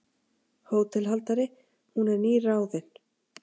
HÓTELHALDARI: Hún er nýráðin.